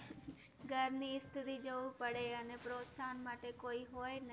ઘરની સ્થિતિ જોવું પડે અને પ્રોત્સાહન માટે કોઈ હોઈ નહીં